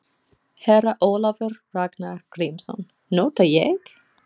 Herra Ólafur Ragnar Grímsson: Nota ég?